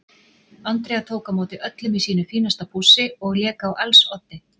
Andrea tók á móti öllum í sínu fínasta pússi og lék á als oddi.